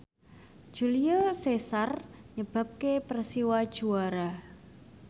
Julio Cesar nyebabke Persiwa juara